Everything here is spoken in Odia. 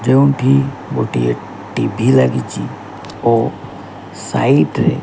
ଯେଉଁଠି ଗୋଟିଏ ଟି_ଭି ଲାଗିଚି। ଓ ସାଇଟ୍ ରେ।